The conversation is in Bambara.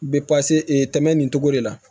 Bɛ tɛmɛ nin cogo de la